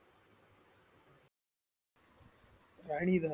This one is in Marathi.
राणीधर